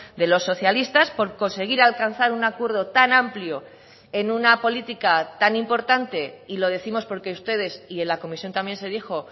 de los socialistas por conseguir alcanzar un acuerdo tan amplio en una política tan importante y lo décimos porque ustedes y en la comisión también se dijo